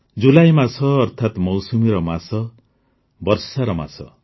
ଜୁଲାଇ ମାସ ଅର୍ଥାତ୍ ମୌସୁମୀର ମାସ ବର୍ଷାର ମାସ